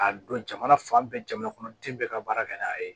K'a don jamana fan bɛɛ jamana kɔnɔ den bɛɛ ka baara kɛ n'a ye